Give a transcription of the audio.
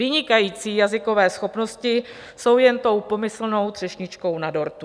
Vynikající jazykové schopnosti jsou jen tou pomyslnou třešničkou na dortu.